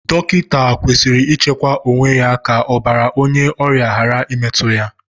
Dọkịta kwesịrị ichekwa onwe ya ka ọbàrà onye ọrịa ghara imetu ya.